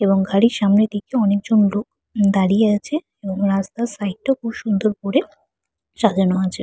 এবং ঘড়ির সামনের দিকে অনেক জন লোক দাঁড়িয়ে আছে এবং রাস্তার সাইড -টা খুব সুন্দর করে সাজানো আছে।